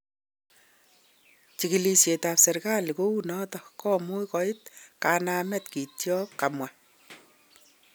"Chikilet ab serikalitkounoton komuch koik kanamet kityok," kamwa.